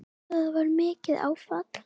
Það var mikið áfall.